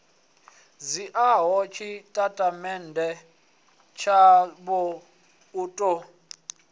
dzhiaho tshitatamennde tshavho u ḓo